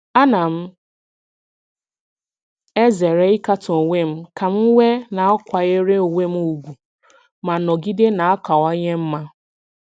Ana m ezere ịkatọ onwe m ka m wee na-akwanyere onwe m ùgwù ma nọgide na-akawanye mma.